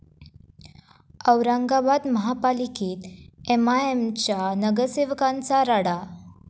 औरंगाबाद महापालिकेत एमआयएमच्या नगरसेवकांचा राडा